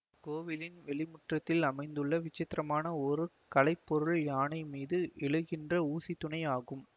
கோவிலின் வெளிமுற்றத்தில் அமைந்துள்ள விசித்திரமான ஒரு கலை பொருள் யானை மீது எழுகின்ற ஊசித்தூணை ஆகும்